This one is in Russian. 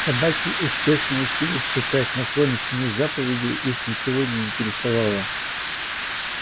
собаки успешно учились читать но кроме семи заповедей их ничего не интересовало